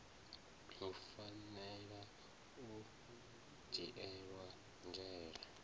hu fanela u dzhielwa nzhele